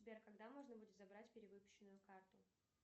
сбер когда можно будет забрать перевыпущенную карту